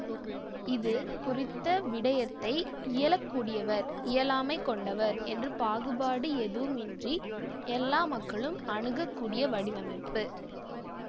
இது குறித்த விடயத்தை இயலக்கூடியவர் இயலாமை கொண்டவர் என்ற பாகுபாடு எதுவும் இன்றி எல்லா மக்களும் அணுகக்கூடிய வடிவமைப்பு